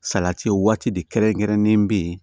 Salati waati de kɛrɛnkɛrɛnnen bɛ yen